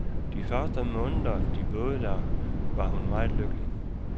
De første måneder, de boede der, var hun meget lykkelig.